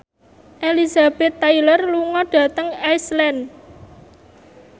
Elizabeth Taylor lunga dhateng Iceland